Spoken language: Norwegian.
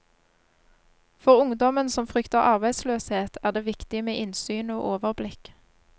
For ungdommen som frykter arbeidsløshet, er det viktig med innsyn og overblikk.